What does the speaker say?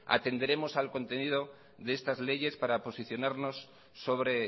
atenderemos al contenido de estas leyes para posicionarnos sobre